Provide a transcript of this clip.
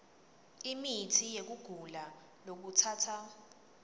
imitsi yekugula lokutsatsa